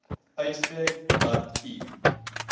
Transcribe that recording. uitspreek dat u